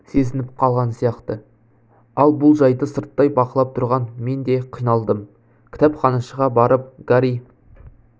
сезініп қалған сияқты ал бұл жайды сырттай бақылап тұрған мен де қиналдым кітапханашыға барып гарри